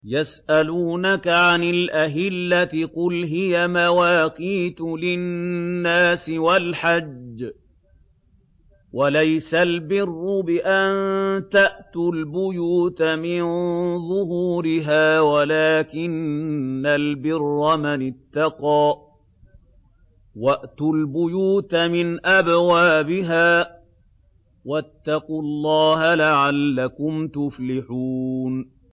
۞ يَسْأَلُونَكَ عَنِ الْأَهِلَّةِ ۖ قُلْ هِيَ مَوَاقِيتُ لِلنَّاسِ وَالْحَجِّ ۗ وَلَيْسَ الْبِرُّ بِأَن تَأْتُوا الْبُيُوتَ مِن ظُهُورِهَا وَلَٰكِنَّ الْبِرَّ مَنِ اتَّقَىٰ ۗ وَأْتُوا الْبُيُوتَ مِنْ أَبْوَابِهَا ۚ وَاتَّقُوا اللَّهَ لَعَلَّكُمْ تُفْلِحُونَ